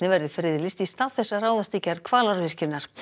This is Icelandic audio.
verði friðlýst í stað þess að ráðast í gerð Hvalárvirkjunar